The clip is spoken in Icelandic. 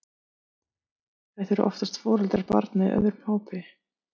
Þetta voru oftast foreldrar barna í öðrum hópi.